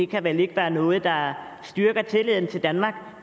kan vel ikke være noget der styrker tilliden til danmark